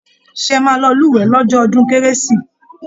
ṣé ẹ máa lọ lúwẹ̀ẹ́ lọ́jọ́ ọdún kérésì?